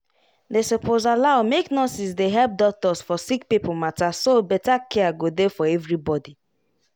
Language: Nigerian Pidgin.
dey suppose allow make nurses dey help doctors for sick people matter so better care go dey for everybody